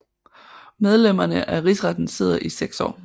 Medlemmerne af Rigsretten sidder i seks år